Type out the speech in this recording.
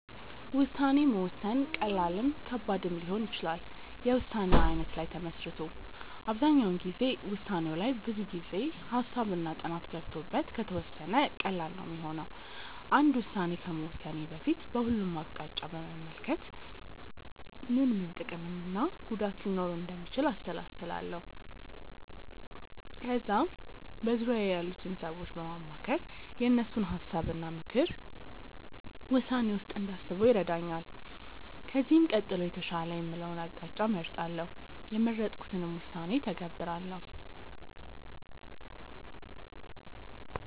ውሳኔ መወሰን ቀላልም ከባድም ሊሆን ይችላል የውሳኔው አይነት ላይ ተመስርቶ። አብዛኛው ጊዜ ውሳኔው ላይ ብዙ ጊዜ፣ ሃሳብ እና ጥናት ገብቶበት ከተወሰነ ቀላል ነው ሚሆነው። አንድ ውስን ከመወሰኔ በፊት በሁሉም አቅጣጫ በመመልከት ምን ምን ጥቅም እና ጉዳት ሊኖረው እንደሚችል አሰላስላለው። ከዛ በዙርያዬ ያሉትን ሰዎች በማማከር የእነሱን ሀሳብ እና ምክርን ውሳኔዬ ውስጥ እንዳስበው ይረዳኛል። ከዚህም ቀጥሎ የተሻለ የምለውን አቅጣጫ እመርጣለው። የመረጥኩትንም ውሳኔ እተገብራለው።